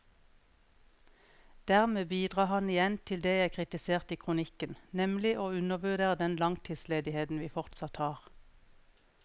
Dermed bidrar han igjen til det jeg kritiserte i kronikken, nemlig å undervurdere den langtidsledigheten vi fortsatt har.